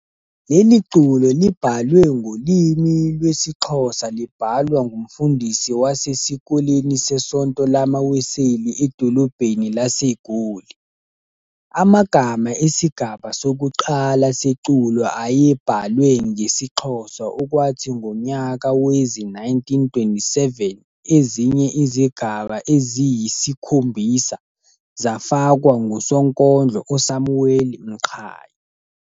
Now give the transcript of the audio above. Leliculo libhalwe ngolimi lwesiXhosa libhalwa ngumfundisi wasesikoleni sesonto lamaWeseli edolobheni laseGoli. Amagama esigaba sokuqala seculo ayebhalwe ngeXhosa, okwathi ngonyaka wezi-1927 ezinye izigaba ezisi-7 zsfakwa ngusonkondlo uSamuale Mqhayi.